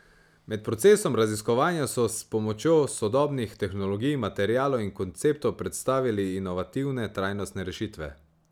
Med procesom raziskovanja so s pomočjo sodobnih tehnologij, materialov in konceptov predstavili inovativne trajnostne rešitve.